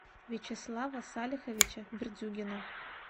вячеслава салиховича бердюгина